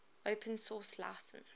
open source license